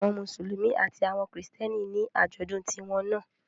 Àwọn Mùsùlùmí àti àwọn Kristẹni ní àjọ̀dún tiwọn náà